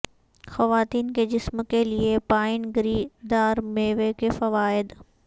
خواتین کے جسم کے لئے پائن گری دار میوے کے فوائد